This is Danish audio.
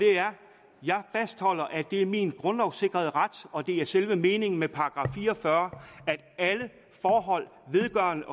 jeg fastholder at det er min grundlovssikrede ret og at det er selve meningen med § fire og fyrre at alle forhold vedrørende